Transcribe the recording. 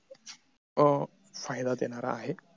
अं फायदा देणारा आहे